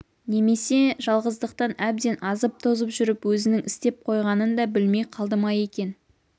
немесе жалғыздықтан әбден азып-тозып жүріп өзінің істеп қойғанын да білмей қалды ма екен